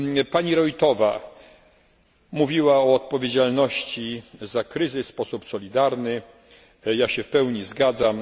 Pani Roithová mówiła o odpowiedzialności za kryzys w sposób solidarny, ja się w pełni zgadzam.